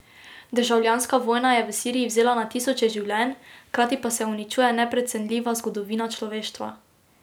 Državljanska vojna je v Siriji vzela na tisoče življenj, hkrati pa se uničuje neprecenljiva zgodovina človeštva.